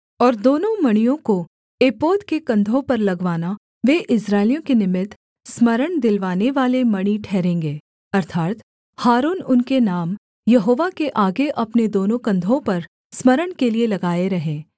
और दोनों मणियों को एपोद के कंधों पर लगवाना वे इस्राएलियों के निमित्त स्मरण दिलवाने वाले मणि ठहरेंगे अर्थात् हारून उनके नाम यहोवा के आगे अपने दोनों कंधों पर स्मरण के लिये लगाए रहे